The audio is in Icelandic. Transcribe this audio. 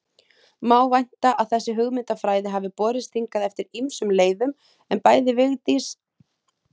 Má vænta að þessi hugmynda- fræði hafi borist hingað eftir ýmsum leiðum, en bæði Vigdís